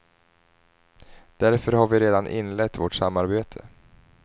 Därför har vi redan inlett vårt samarbete.